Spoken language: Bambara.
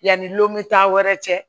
Yanni lɔmitta wɛrɛ cɛ